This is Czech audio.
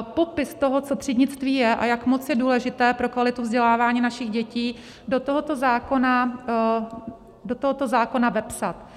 popis toho, co třídnictví je a jak moc je důležité pro kvalitu vzdělávání našich dětí, do tohoto zákona vepsat.